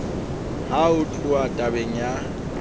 ha ho tluwa tabeng ya